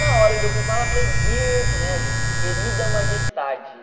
Na hora que eu fui falar, eu falei, Dear Majesty, querida majestade.